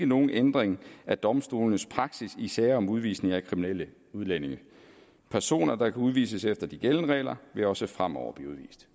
nogen ændring af domstolenes praksis i sager om udvisning af kriminelle udlændinge personer der kan udvises efter de gældende regler vil også fremover blive udvist